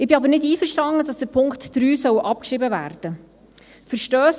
Ich bin aber nicht einverstanden, dass der Punkt 3 abgeschrieben werden soll.